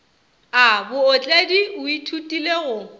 a bootledi o ithutile go